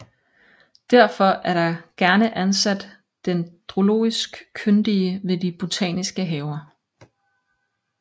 Derfor er der gerne ansat dendrologisk kyndige ved de botaniske haver